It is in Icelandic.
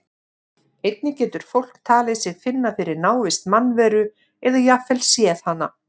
Einnig getur fólk talið sig finna fyrir návist mannveru eða jafnvel séð hana.